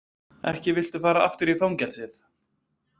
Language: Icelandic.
Ekki viltu fara aftur í fangelsið.